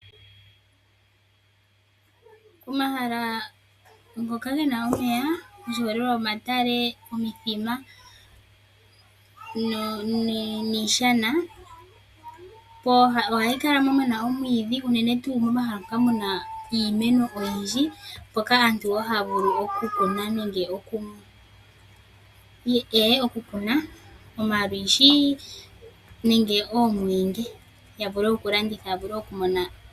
Omahala ngoka gena omeya oshiholelwa, omatale, omithima niishana, pooha ohapu kala pena omwiidhi unene tuu momahala mpoka muna iimeno oyindji mpoka aantu haa vulu oku kuna omalwishi nenge oomweenge ya vule oku landitha .